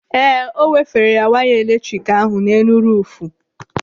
Ee, ọ wefere waya eletrik ahụ n'elu ruufu.